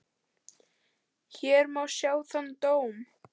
Hér má sjá þann dóm.